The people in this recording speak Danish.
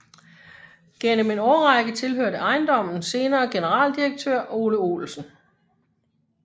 Gennem en årrække tilhørte ejendommen senere generaldirektør Ole Olsen